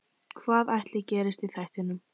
Hvað ætli gerist í þættinum?